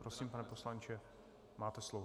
Prosím, pane poslanče, máte slovo.